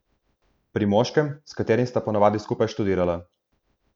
Pri moškem, s katerim sta po navadi skupaj študirala.